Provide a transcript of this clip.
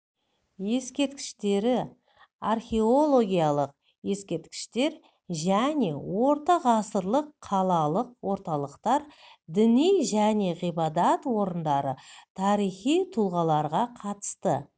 ескерткіштері археологиялық ескерткіштер және орта ғасырлық қалалық орталықтар діни және ғибадат орындары тарихи тұлғаларға қатысты